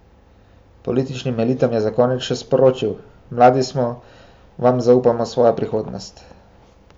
Političnim elitam je za konec še sporočil: ''Mladi smo vam zaupali svojo prihodnost.